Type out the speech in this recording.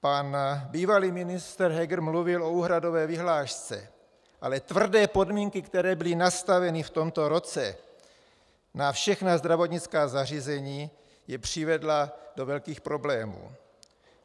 Pan bývalý ministr Heger mluvil o úhradové vyhlášce, ale tvrdé podmínky, které byly nastaveny v tomto roce na všechna zdravotnická zařízení, je přivedla do velkých problémů.